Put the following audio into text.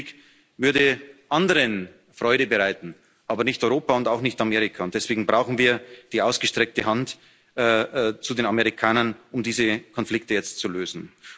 Ein Handelskrieg würde anderen Freude bereiten, aber nicht Europa und auch nicht Amerika, und deswegen brauchen wir die ausgestreckte Hand zu den Amerikanern, um diese Konflikte jetzt zu lösen.